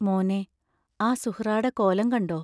മോനേ, ആ സുഹ്റാടെ കോലം കണ്ടോ?